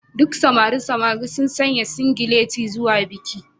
Duk samarin samarin sun sanya singileti zuwa bikin